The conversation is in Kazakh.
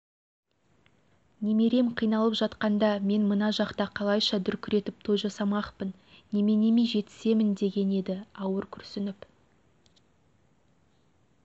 немерем қиналып жатқанда мен мына жақта қалайша дүркіретіп той жасамақпын неменеме жетісемін деген еді ауыр күрсініп